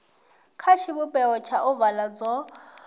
kha tshivhumbeo tsha ovala dzo